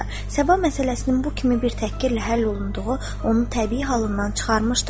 Səba məsələsinin bu kimi bir təhqirlə həll olunduğu onu təbii halından çıxarmışdı.